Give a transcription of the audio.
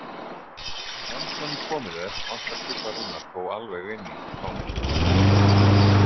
Enn sem komið er, vantar Tryggva Rúnar þó alveg inn í þá mynd.